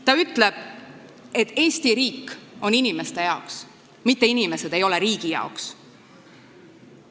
Ta ütleb, et Eesti riik on inimeste jaoks, mitte inimesed ei ole riigi jaoks.